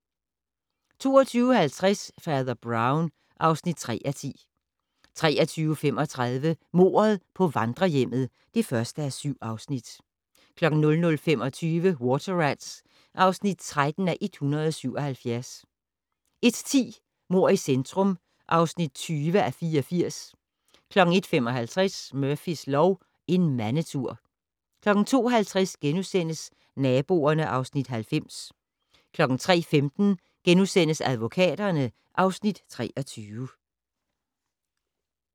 22:50: Fader Brown (3:10) 23:35: Mordet på vandrehjemmet (1:7) 00:25: Water Rats (13:177) 01:10: Mord i centrum (20:84) 01:55: Murphys lov: En mandetur 02:50: Naboerne (Afs. 90)* 03:15: Advokaterne (Afs. 23)*